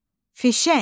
Fişəng.